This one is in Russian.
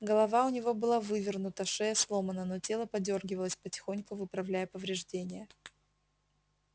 голова у него была вывернута шея сломана но тело подёргивалось потихоньку выправляя повреждения